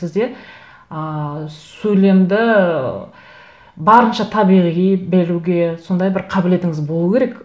сізде ыыы сөйлемді ыыы барынша табиғи беруге сондай бір қабілетіңіз болу керек